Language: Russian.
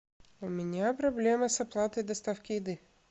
у меня проблема с оплатой доставки еды